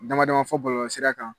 Damadama fɔ bɔlɔlɔsira kan